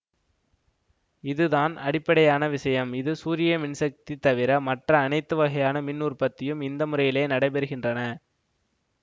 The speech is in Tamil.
இதுதான் அடிப்படையான விஷயம் இது சூரியமின் சக்தி தவிர மற்ற அனைத்து வகையான மின் உற்பத்தியும் இந்த முறையிலே நடைபெறுகின்றன